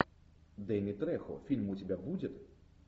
дэнни трехо фильм у тебя будет